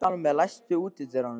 Salome, læstu útidyrunum.